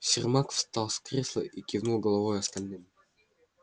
сермак встал с кресла и кивнул головой остальным